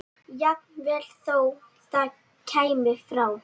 Jafnvel þó það kæmi frá